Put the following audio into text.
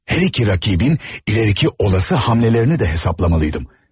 Hər iki rakibin ileriki olası hamlərini də hesaplamalıydım.